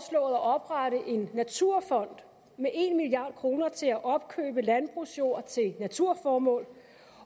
at oprette en naturfond med en milliard kroner til at opkøbe landbrugsjord til naturformål